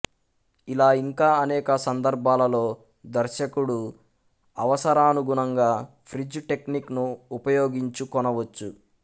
ఇలా ఇంకా అనేక సందర్భాలలో దర్శకుడు అవసరాణుగుణంగా ఫ్రీజ్ టెక్నిక్ ను ఉపయోగించుకొనవచ్చు